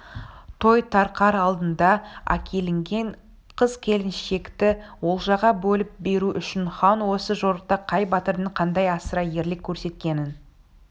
той тарқар алдында әкелінген қыз-келіншекті олжаға бөліп беру үшін хан осы жорықта қай батырдың қандай асыра ерлік көрсеткенін